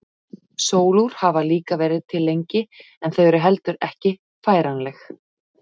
Sólúr hafa líka verið til lengi en þau eru heldur ekki færanleg.